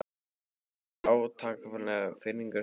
Lýsir það ekki átakanlegri firringu hugans?